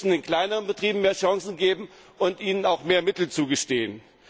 Wir müssen den kleineren Betrieben mehr Chancen geben und ihnen auch mehr Mittel zugestehen.